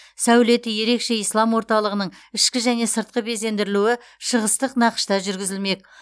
сәулеті ерекше ислам орталығының ішкі және сыртқы безендірілуі шығыстық нақышта жүргізілмек